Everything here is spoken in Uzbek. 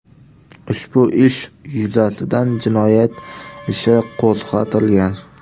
Ushbu ish yuzasidan jinoyat ishi qo‘zg‘atilgan.